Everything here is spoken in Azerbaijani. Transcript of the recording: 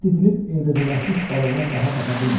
O didilib eybəcərləşmiş balığına daha baxa bilmirdi.